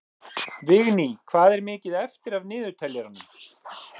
Vigný, hvað er mikið eftir af niðurteljaranum?